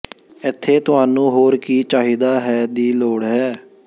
ਇੱਥੇ ਤੁਹਾਨੂੰ ਹੋਰ ਕੀ ਚਾਹੀਦਾ ਹੈ ਦੀ ਲੋੜ ਹੈ